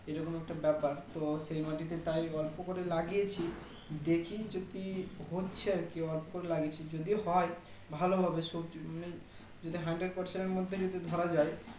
এই রকম একটা ব্যাপার তো সেই মাটিতে তাই অল্প করে লাগিয়েছি দেখি যদি হচ্ছে আরকি অল্প করে লাগিয়েছি যদি হয় ভালো হবে সবজি মানে যদি Hundred percent এর মধ্যে ধরা যাই